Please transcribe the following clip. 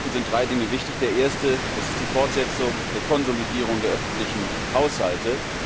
Morgen bei dem Gipfel sind drei Dinge wichtig. Das erste ist die Fortsetzung der Konsolidierung der öffentlichen Haushalte.